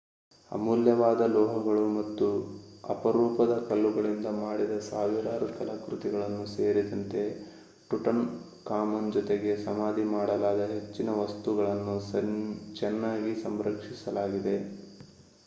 ಅಮೂಲ್ಯವಾದ ಲೋಹಗಳು ಮತ್ತು ಅಪರೂಪದ ಕಲ್ಲುಗಳಿಂದ ಮಾಡಿದ ಸಾವಿರಾರು ಕಲಾಕೃತಿಗಳು ಸೇರಿದಂತೆ ಟುಟನ್‌ಖಾಮನ್ ಜೊತೆಗೆ ಸಮಾಧಿ ಮಾಡಲಾದ ಹೆಚ್ಚಿನ ವಸ್ತುಗಳನ್ನು ಚೆನ್ನಾಗಿ ಸಂರಕ್ಷಿಸಲಾಗಿದೆ